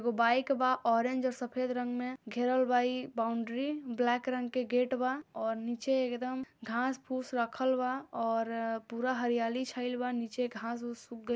एगो बाइक बा ऑरेंज और सफ़ेद रंग में घेरल बा ई बाउंड्री ब्लैक रंग के गेट बा और नीचे एकदम घास फूस रखल बा और अ पूरा हरयाली छाइल बा नीचे घास उस उग गई --